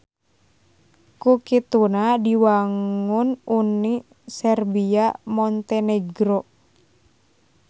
Ku kituna diwangun Uni Serbia Montenegro.